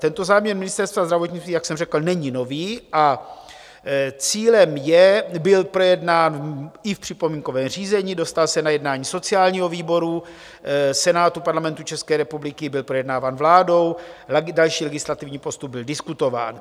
Tento záměr Ministerstva zdravotnictví, jak jsem řekl, není nový, a cílem je, byl projednán i v připomínkovém řízení, dostal se na jednání sociálního výboru Senátu Parlamentu České republiky, byl projednáván vládou, další legislativní postup byl diskutován.